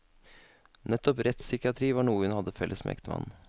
Nettopp rettspsykiatri var noe hun hadde felles med ektemannen.